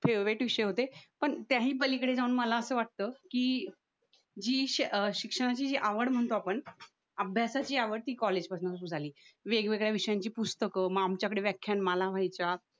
favourite विषय होते पण त्याही पलीकडे जाऊन मला असं वाटतं की जी शे शिक्षणाची जी आवड म्हणतो आपण अभ्यासाची आवड ती कॉलेज पासून सुधारली वेगवेगळ्या विषयांची पुस्तकं म आमच्याकडे व्याख्यानमाला व्हायच्या